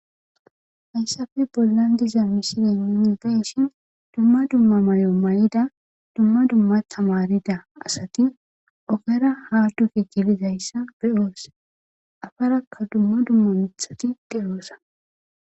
hayssafe bollan diza mishilen ninidayishin dumma dumma mayo may7ida dumma dumma tamarida asati ogera haadufi gilizayssa be7oos afarakka dumma dumma mitxhati deyoosa